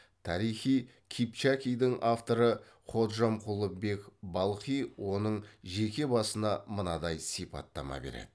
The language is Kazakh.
тарихи кипчакидің авторы ходжамқұлы бек балхи оның жеке басына мынадай сипаттама береді